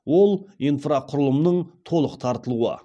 ол инфрақұрылымның толық тартылуы